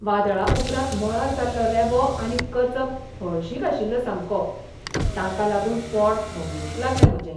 वादळा उपरांत मळार जाल्लो रेबो आनी कचप हळशिक आशिल्लो सामको, ताका लागून पोट धवळूंक लागलें म्हजें.